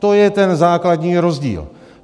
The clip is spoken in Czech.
To je ten základní rozdíl.